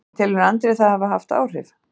En telur Andri það hafa haft áhrif?